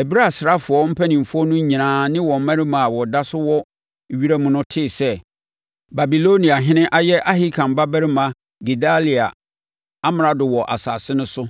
Ɛberɛ a asraafoɔ mpanimfoɔ no nyinaa ne wɔn mmarima a wɔda so wɔ wiram no tee sɛ, Babiloniahene ayɛ Ahikam babarima Gedalia amrado wɔ asase no so,